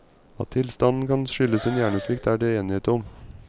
At tilstanden kan skyldes en hjernesvikt, er det enighet om.